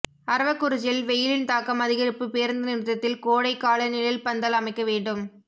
அரவக்குறிச்சியில் வெயிலின் தாக்கம் அதிகரிப்பு பேருந்து நிறுத்தத்தில் கோடை கால நிழல்பந்தல் அமைக்க வேண்டும்